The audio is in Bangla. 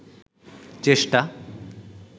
চেষ্টা